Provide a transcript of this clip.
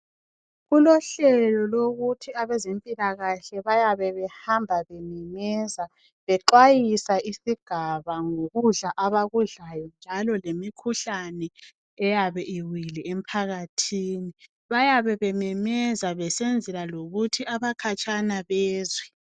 Kulohlelo lokuthi abezempilakahle bayabe behamba bememeza bexwayisa isingaba ngokudla abakudlayo njalo lemikhuhlane eyabe iwile emphakathini bayabe bememeza besenzela lokuthi abakhatshana bezwe.